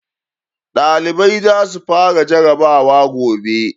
ɗalibai za su fara jarrabawa gobe